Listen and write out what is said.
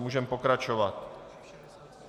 Můžeme pokračovat.